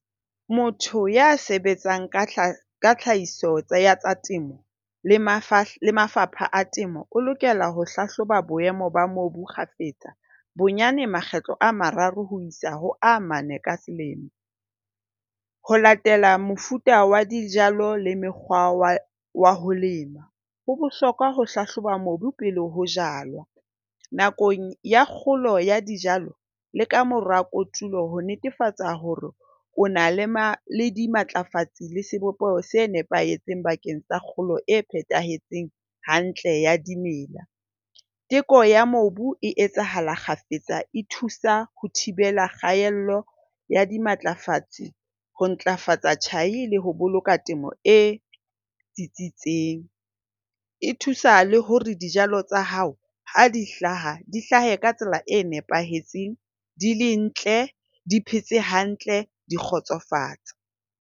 Motho ya sebetsang ka tlhahiso ya tsa temo le mafapha a temo o lokela ho hlahloba boemo ba mobu kgafetsa. Bonyane makgetlo a mararo ho isa ho a mane ka selemo. Ho latela mofuta wa dijalo le mekgwa wa wa ho lema. Ho bohlokwa ho hlahloba mobu pele ho jalwa. Nakong ya kgolo ya dijalo le ka mora kotulo ho netefatsa hore o na le ma le dimatlafatsi le sebopeho se nepahetseng bakeng sa kgolo e phethahetseng hantle ya dimela. Teko ya mobu e etsahala kgafetsa e thusa ho thibela kgaello ya dimatlafatsi ho ntlafatsa tjhai le ho boloka temo e tsitsitseng. E thusa le hore dijalo tsa hao ha di hlaha di hlahe ka tsela e nepahetseng. Di le ntle, di phetse hantle. Di kgotsofatsa.